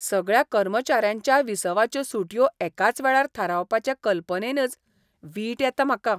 सगळ्या कर्मचाऱ्यांच्या विसवाच्यो सुटयो एकाच वेळार थारावपाचे कल्पनेनच वीट येता म्हाका.